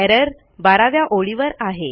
error 12 व्या ओळीवर आहे